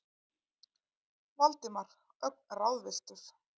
Valdimar, ögn ráðvilltur.